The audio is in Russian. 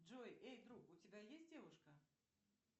джой эй друг у тебя есть девушка